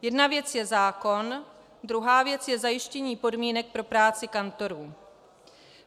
Jedna věc je zákon, druhá věc je zajištění podmínek pro práci kantorů.